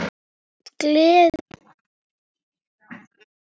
Gleðin lifir í anda Ellu.